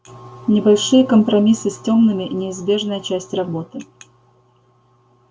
небольшие компромиссы с тёмными неизбежная часть работы